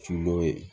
Su dɔ ye